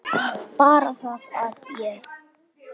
Bara það að ég.